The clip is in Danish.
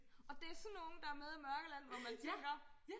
Og det sådan nogen der med i Mørkeland hvor man tænker